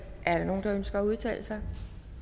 er der nogen der ønsker at udtale sig